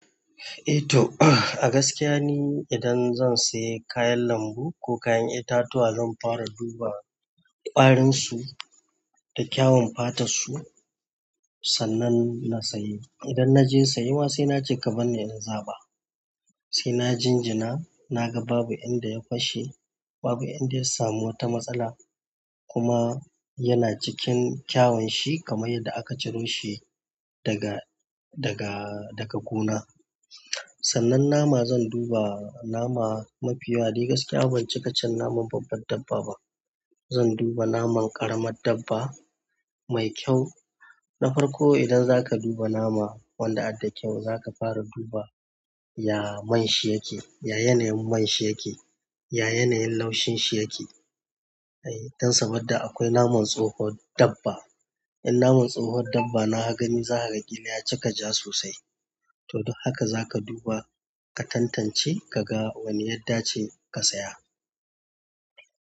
Eh to a gaskiya ne idan zan sayi kayan lambu, ko kayan itatuwa zan fara duba ƙwarinsu, da kyawun fatarsu, sannan na sayi. Idan na je sayuwa sai na ce ka banni in za ba. Sai na jinjina, na ga babu inda ya fashe, babu inda ya samu wata matsala kuma yana cikin kyawun shi kamar yadda aka ciro shi daga, daga, daga gona. Sannan nama zan duba nama mafi yawa dai gaskiya ban cika cin naman babbar dabba ba. Zan duba naman ƙaramar dabba mai kyau. Na farko idan za ka duba nama wanda adda kyau za ka fara duba ya man shi yake, ya yanayin man shi yake, ya yanayin laushin shi yake. Eh, don saboda akwai naman tsohon dabba. In naman tsohon dabba na ka gani za ka ƙila ya cika ja sosai. To don haka za ka duba ka tantance ka ga wanne yadda ce ka saya.